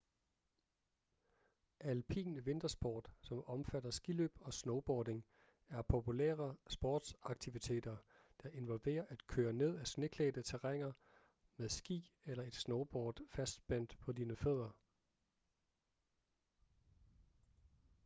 alpin vintersport som omfatter skiløb og snowboarding er populære sportsaktiviteter der involverer at køre ned af sneklædte terræner med ski eller et snowboard fastspændt på dine fødder